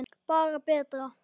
Bara betra.